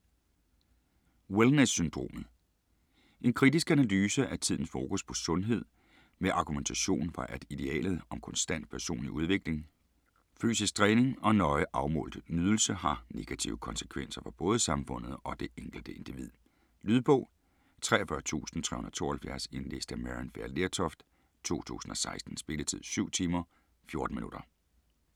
Wellness syndromet En kritisk analyse af tidens fokus på sundhed, med argumentation for at idealet om konstant personlig udvikling, fysisk træning og nøje afmålt nydelse har negative konsekvenser for både samfundet og det enkelte individ. Lydbog 43372 Indlæst af Maryann Fay Lertoft, 2016. Spilletid: 7 timer, 14 minutter.